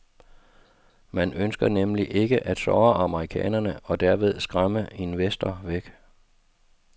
Man ønsker nemlig ikke at såre amerikanerne og derved skræmme investorer væk.